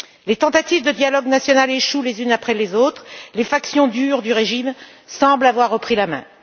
Les tentatives de dialogue national échouent les unes après les autres. Les factions dures du régime semblent avoir repris la main.